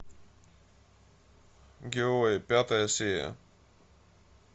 герои пятая серия